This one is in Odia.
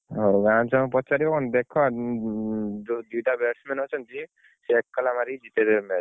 ହଉ ଗାଁ ଛୁଆଙ୍କୁ ପଚାରିବ, ହଉ ଦେଖ ଯୋଉ ଦିଟା batsman ଅଛନ୍ତି, ସେ ଏକେଲା ମାରି ଜିତେଇଦେବେ match ।